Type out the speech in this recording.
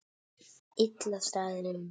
Illa staðið að málum.